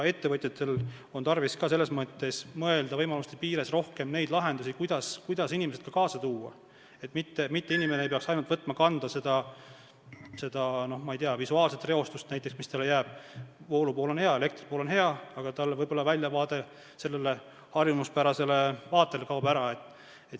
Ettevõtjatel on tarvis ka selles mõttes mõelda võimaluste piires rohkem nendele lahendustele, kuidas inimesi kaasa tuua, et inimesed ei peaks võtma enda kanda näiteks ainult seda visuaalset reostust: voolupool on hea, elektripool on hea, aga võib-olla harjumuspärane väljavaade kaob ära.